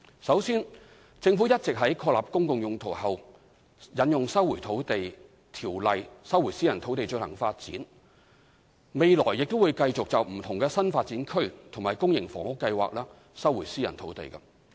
首先，政府一直有在確立"公共用途"後引用《收回土地條例》收回私人土地進行發展，未來亦會繼續就不同的新發展區及公營房屋計劃收回私人土地。